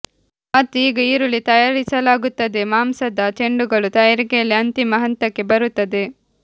ಮತ್ತು ಈಗ ಹುರುಳಿ ತಯಾರಿಸಲಾಗುತ್ತದೆ ಮಾಂಸದ ಚೆಂಡುಗಳು ತಯಾರಿಕೆಯಲ್ಲಿ ಅಂತಿಮ ಹಂತಕ್ಕೆ ಬರುತ್ತದೆ